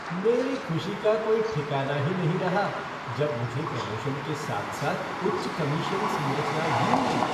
मेरी ख़ुशी का कोई ठिकाना ही नहीं रहा जब मुझे प्रमोशन के साथ साथ उच्च कमीशन संरचना भी मिली।